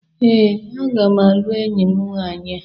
Ee, aga m alụ enyi m nwaanyị a.